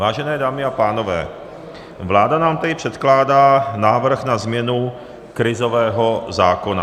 Vážené dámy a pánové, vláda nám tady předkládá návrh na změnu krizového zákona.